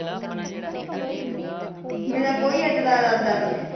ਮੇਰਾ ਕੋਈ ਇੱਦਾਂ ਦਾ ਇਰਾਦਾ ਨਹੀਂ ਹੈ